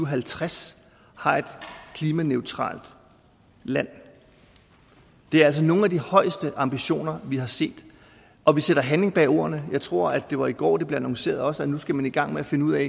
og halvtreds har et klimaneutralt land det er altså nogle af de højeste ambitioner vi har set og vi sætter handling bag ordene jeg tror at det var i går det blev annonceret at nu skal man i gang med at finde ud af